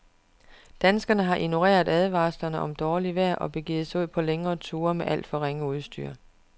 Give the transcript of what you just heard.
Danskerne har ignoreret advarsler om dårligt vejr og begivet sig ud på længere ture med alt for ringe udstyr.